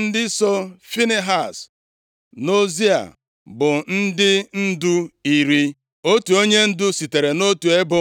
Ndị so Finehaz nʼozi a bụ ndị ndu iri. Otu onyendu sitere nʼotu ebo,